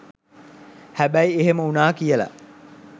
හැබැයි එහෙම උනා කියල